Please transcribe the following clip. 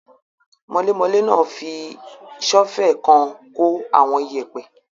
Mọlémọlé náà fi sọ́ọ́fẹ̀ kan kó àwọn iyẹ̀pẹ́